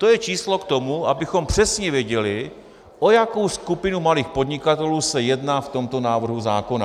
To je číslo k tomu, abychom přesně věděli, o jakou skupinu malých podnikatelů se jedná v tomto návrhu zákona.